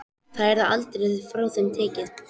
Það yrði aldrei frá þeim tekið.